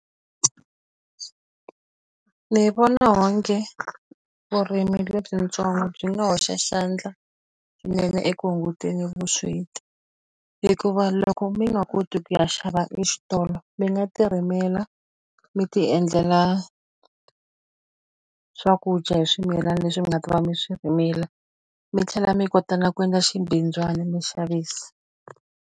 Ni vona onge vurimi lebyitsongo byi nga hoxa xandla swinene eku hunguteni ka vusweti. Hikuva loko mi nga koti ku ya xava exitolo, mi nga ti rimela, mi ti endlela swakudya hi swimilana leswi mi nga ta va mi swi rimile. Mi tlhela mi kota na ku endla xibindzwana mi xavisa.